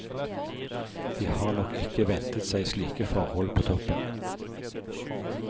De har nok ikke ventet seg slike forhold på toppen.